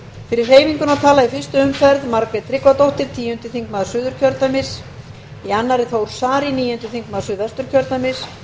fyrir hreyfinguna tala í fyrstu umferð margrét tryggvadóttir tíundi þingmaður suðurkjördæmis í annarri þór saari níundi þingmaður suðvesturkjördæmis